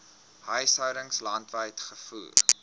huishoudings landwyd gevoer